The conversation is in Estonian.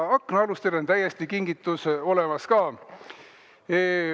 Aknaalustele on ka kingitus täiesti olemas.